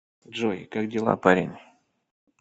джой как дела парень